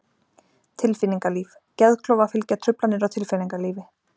Tilfinningalíf Geðklofa fylgja truflanir á tilfinningalífi.